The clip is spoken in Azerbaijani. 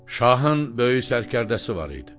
Şahın böyük sərkərdəsi var idi.